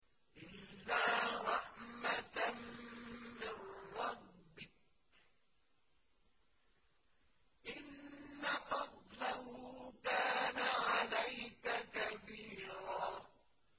إِلَّا رَحْمَةً مِّن رَّبِّكَ ۚ إِنَّ فَضْلَهُ كَانَ عَلَيْكَ كَبِيرًا